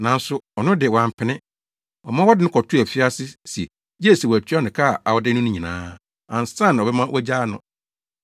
“Nanso ɔno de, wampene. Ɔma wɔde no kɔtoo afiase se gye sɛ watua no ka a ɔde no no nyinaa ansa na ɔbɛma wɔagyaa no.